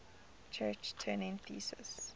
church turing thesis